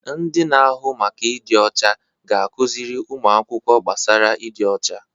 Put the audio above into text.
Ndị na-ahụ maka ịdị ọcha ga-akụziri ụmụ akwụkwọ gbasara ịdị ọcha.